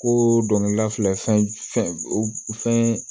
Ko dɔnkilidala filɛ fɛn fɛn